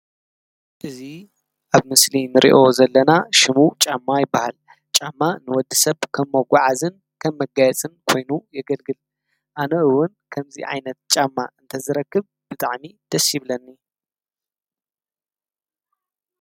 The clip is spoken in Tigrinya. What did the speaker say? እዚ ኣብ ምስሊ እንሪኦ ዘለና ሽሙ ጫማ ይባሃል፡፡ ጫማ ንወዲ ሰብ ከም መጋዓዝን ከም መጋየፅን ኮይኑ የገልግል፡፡ ኣነ እውን ከምዚ ዓይነት ጫማ እንተዝረክብ ብጣዕሚ ደስ ይብለኒ፡፡